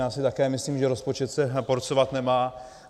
Já si také myslím, že rozpočet se porcovat nemá.